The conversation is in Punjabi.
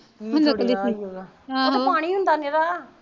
ਪਾਣੀ ਹੁੰਦਾ ਨਿਰਾ